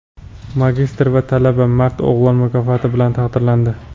magistr va talaba "Mard o‘g‘lon" mukofoti bilan taqdirlandi.